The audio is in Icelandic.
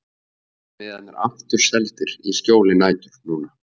Verða miðarnir aftur seldir í skjóli nætur núna?